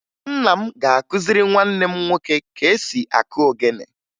Nna m ga-akụziri nwanne m nwoke ka esi akụ ogene